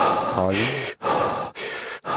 Kolding